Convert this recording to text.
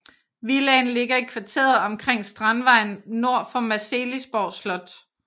Villaen ligger i kvarteret omkring Strandvejen nord for Marselisborg Slot